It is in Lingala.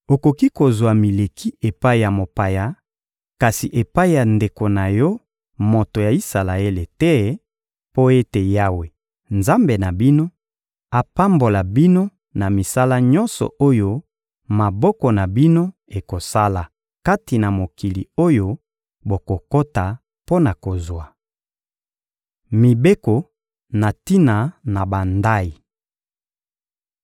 Okoki kozwa mileki epai ya mopaya, kasi epai ya ndeko na yo moto ya Isalaele te; mpo ete Yawe, Nzambe na bino, apambola bino na misala nyonso oyo maboko na bino ekosala kati na mokili oyo bokokota mpo na kozwa. Mibeko na tina na bandayi